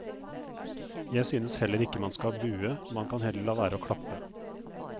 Jeg synes heller ikke man skal bue, man kan heller la være å klappe.